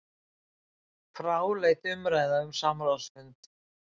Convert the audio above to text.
Fráleit umræða um samráðsfund